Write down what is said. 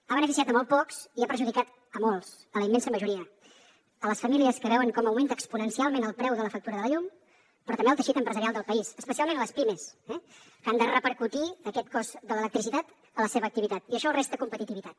ha beneficiat a molt pocs i ha perjudicat a molts a la immensa majoria a les famílies que veuen com augmenta exponencialment el preu de la factura de la llum però també al teixit empresarial del país especialment les pimes que han de repercutir aquest cost de l’electricitat a la seva activitat i això els resta competitivitat